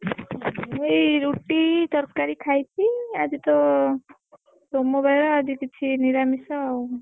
ମୁଁ ଏଇ ରୁଟି ତରକାରୀ ଖାଇଛି ଆଜି ତ ସୋମବାର ଆଜି କିଛି ନିରାମିଷ ଆଉ।